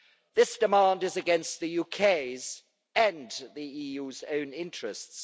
This demand is against the UK's and the EU's own interests.